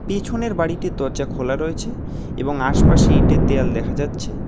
পেছনের বাড়িটির দরজা খোলা রয়েছে এবং আশপাশে ইটের দেওয়াল দেখা যাচ্ছে।